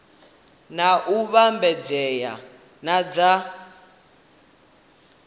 na u vhambedzea na dza